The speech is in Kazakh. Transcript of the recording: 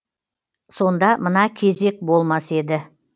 сонда мына кезек болмас еді